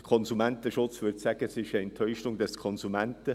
Der Konsumentenschutz würde sagen, es sei eine Täuschung des Konsumenten.